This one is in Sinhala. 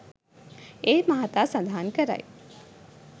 ඒ මහතා සඳහන් කරයි